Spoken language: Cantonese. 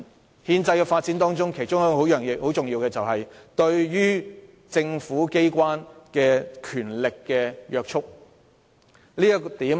而在憲制的發展中，其中一個重要元素是對於政府機關的權力的約束。